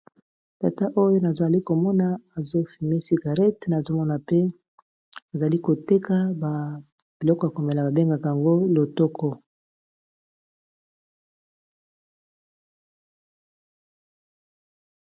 Tata oyo nazali komona azofime cigarete nazomona pe azali koteka ba biloko ya komela babengaka yango lotoko.